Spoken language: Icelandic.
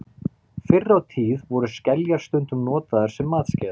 Fyrr á tíð voru skeljar stundum notaðar sem matskeiðar.